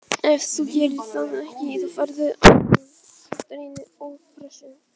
Ef þú gerir það ekki þá færðu á þig gagnrýni og pressu.